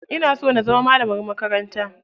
Ina so na zama malamar makaranta.